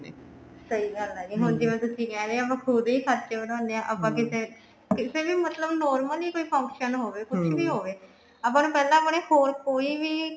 ਸਹੀ ਗੱਲ ਹੈ ਜੀ ਹੁਣ ਤੁਸੀਂ ਕਹਿ ਰਹੇ ਹੋ ਵੀ ਆਪਾਂ ਖੁੱਦ ਹੀ ਖਰਚੇ ਵਧਾਉਂਦੇ ਹਾਂ ਆਪਾਂ ਕਿਤੇ ਕਿਤੇ ਵੀ ਮਤਲਬ normally ਕੋਈ function ਹੋਵੇ ਕੁੱਝ ਵੀ ਹੋਵੇ ਆਪਾਂ ਨੂੰ ਆਪਣੇ ਪਹਿਲਾਂ ਹੋਰ ਕੋਈ ਵੀ